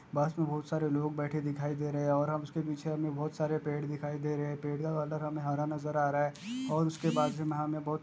बस में बहुत सारे लोग बैठे दिखाई दे रहे है और हमे उसके पीछे में बहुत सारे पेड़ दिखाई दे रहे है पेड़ का कलर हमे हरा नज़र आ रहा है और उसके बाजु में हमे बहुत --